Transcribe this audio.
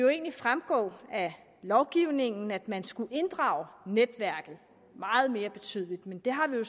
fremgå af lovgivningen at man skulle inddrage netværket meget mere betydeligt men det har vi jo